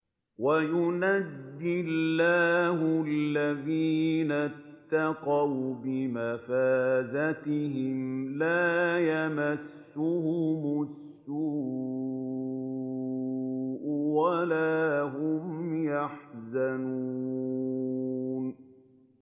وَيُنَجِّي اللَّهُ الَّذِينَ اتَّقَوْا بِمَفَازَتِهِمْ لَا يَمَسُّهُمُ السُّوءُ وَلَا هُمْ يَحْزَنُونَ